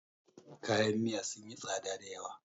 kayan Miya sun yi tsada da yawa